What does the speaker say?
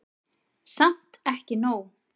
Samt ekki nóg.